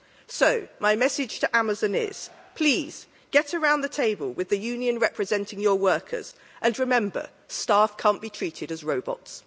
So my message to Amazon is, please get around the table with the union representing your workers and remember, staff can't be treated as robots.